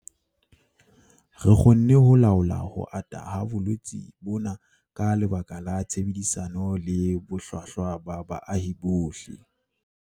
Re kgonne ho laola ho ata ha bolwetse bona ka lebaka la tshebedisano le bohlwahlwa ba baahi bohle.